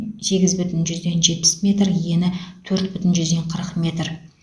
сегіз бүтін жүзден жетпіс метр ені төрт бүтін жүзден қырық метр